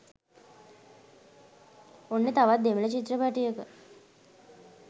ඔන්න තවත් දෙමල චිත්‍රපටයක